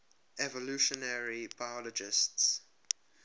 evolutionary biologists